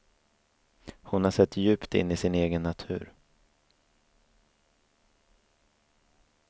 Hon har sett djupt in i sin egen natur.